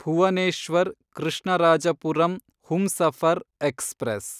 Bhuvneshwar Krishnarajapuram Humsafar express